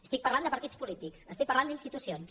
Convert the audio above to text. estic parlant de partits polítics estic parlant d’institucions